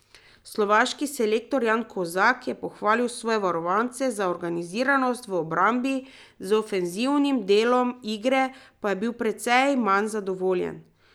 Slovaški selektor Jan Kozak je pohvalil svoje varovance za organiziranost v obrambi, z ofenzivnim delom igre pa je bil precej manj zadovoljen.